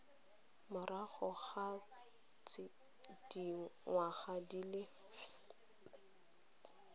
morago ga dingwaga di le